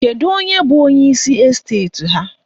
Kedu onye bụ onyeisi esteti ha?